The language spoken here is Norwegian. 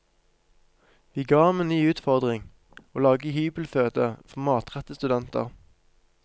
Vi ga ham en ny utfordring, å lage hybelføde for mattrette studenter.